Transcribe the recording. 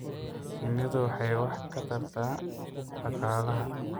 Shinnidu waxay wax ka tarta dhaqaalaha.